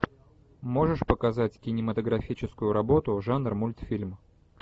можешь показать кинематографическую работу жанр мультфильм